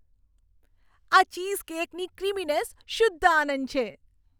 આ ચીઝકેકની ક્રીમીનેસ શુદ્ધ આનંદ છે.